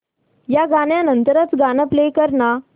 या गाण्या नंतरचं गाणं प्ले कर ना